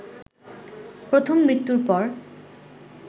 প্রথম মৃত্যুর পর